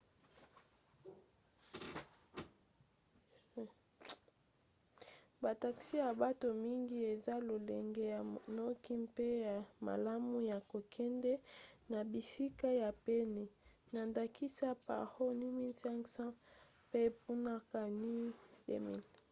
ba taxi ya bato mingi eza lolenge ya noki mpe ya malamu ya kokende na bisika ya pene na ndakisa paro nu 150 pe punakha nu 200